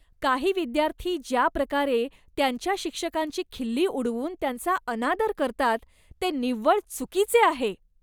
काही विद्यार्थी ज्या प्रकारे त्यांच्या शिक्षकांची खिल्ली उडवून त्यांचा अनादर करतात, ते निव्वळ चुकीचे आहे.